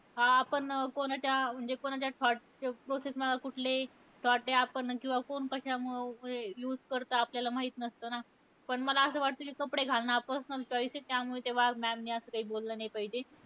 अं आपण कोणाच्या म्हणजे कोणाच्या thought च्या process मध्ये कुठले thought हे, आपण कोण किंवा कोण कशामुळे use करतं. आपल्याला माहित नसतं ना. पण मला असं वाटतं कि कपडे घालणं हा personal choice आहे. त्यामुळे त्या वाघ ma'am ने असं काही बोललं नाही पाहिजे.